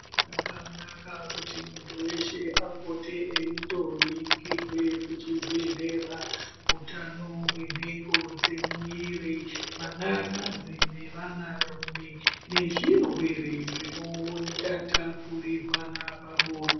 Zvakanaka kuti muntu veshe apote eindo ningirwe kuchibhedhlera utano hwenhengo dzemuviri. Vanakadzi nevanarume nezvirwere zvinotatapurirwana pabonde.